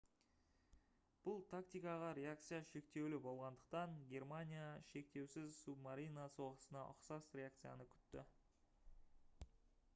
бұл тактикаға реакция шектеулі болғандықтан гермаиня шектеусіз субмарина соғысына ұқсас реакцияны күтті